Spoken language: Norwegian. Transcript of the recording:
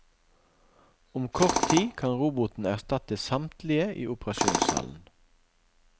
Om kort tid kan roboten erstatte samtlige i operasjonssalen.